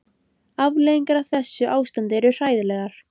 Afleiðingarnar af þessu ástandi eru hræðilegar.